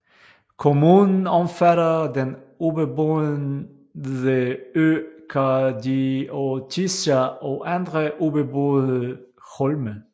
Kommunen omfatter den ubeboede ø Kardiotissa og andre ubeboede holme